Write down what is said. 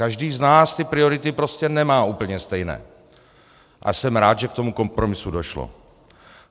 Každý z nás ty priority prostě nemá úplně stejné a jsem rád, že k tomu kompromisu došlo.